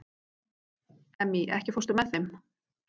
Emmý, ekki fórstu með þeim?